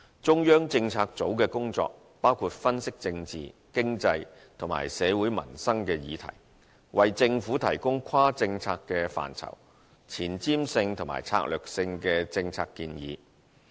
中策組的工作，包括分析政治、經濟，以及社會民生議題，為政府提供跨政策範疇、前瞻性與策略性的政策建議。